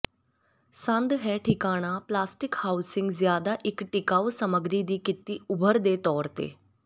ਸੰਦ ਹੈ ਠਿਕਾਣਾ ਪਲਾਸਟਿਕ ਹਾਊਸਿੰਗ ਜਿਆਦਾ ਇੱਕ ਟਿਕਾਊ ਸਮੱਗਰੀ ਦੀ ਕੀਤੀ ਉਭਰ ਦੇ ਤੌਰ ਤੇ